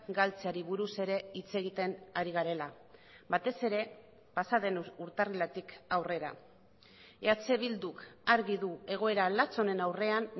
galtzeari buruz ere hitz egiten ari garela batez ere pasaden urtarriletik aurrera eh bilduk argi du egoera latz honen aurrean